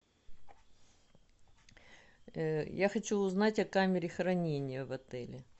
я хочу узнать о камере хранения в отеле